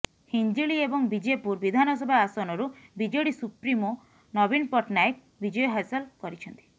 ହିଞ୍ଜିଳି ଏବଂ ବିଜେପୁର ବିଧାନସଭା ଆସନରୁ ବିଜେଡି ସୁପ୍ରିମୋ ନବୀନ ପଟ୍ଟନାୟକ ବିଜୟ ହାସଲ କରିଛନ୍ତିା